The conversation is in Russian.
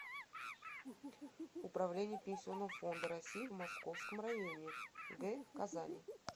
управление пенсионного фонда россии в московском районе г казани